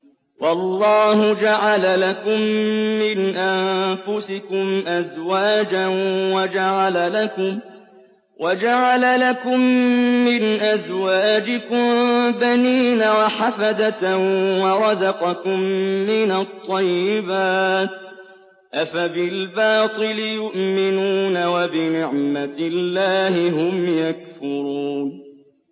وَاللَّهُ جَعَلَ لَكُم مِّنْ أَنفُسِكُمْ أَزْوَاجًا وَجَعَلَ لَكُم مِّنْ أَزْوَاجِكُم بَنِينَ وَحَفَدَةً وَرَزَقَكُم مِّنَ الطَّيِّبَاتِ ۚ أَفَبِالْبَاطِلِ يُؤْمِنُونَ وَبِنِعْمَتِ اللَّهِ هُمْ يَكْفُرُونَ